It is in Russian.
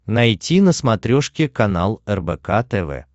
найти на смотрешке канал рбк тв